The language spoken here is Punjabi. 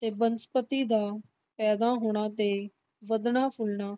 ਤੇ ਬਨਸਪਤੀ ਦਾ ਪੈਦਾ ਹੋਣਾ ਤੇ ਵੱਧਣਾ ਫੁਲਣਾ